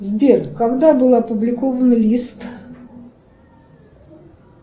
сбер когда была опубликована лист